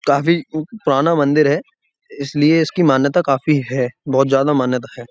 काफी पुराना मंदिर है इसलिए इसकी मान्यता काफी है बहुत ज्यादा मान्यता है।